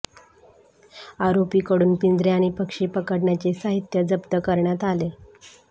आरोपींकडून पिंजरे आणि पक्षी पकडण्याचे साहित्य जप्त करण्यात आले